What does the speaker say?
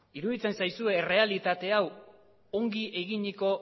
iruditzen zaizue errealitate hau ongi eginiko